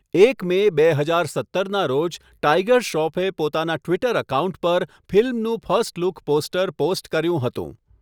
એક મે બે હજાર સત્તરના રોજ ટાઇગર શ્રોફે પોતાના ટ્વિટર એકાઉન્ટ પર ફિલ્મનું ફર્સ્ટ લુક પોસ્ટર પોસ્ટ કર્યું હતું.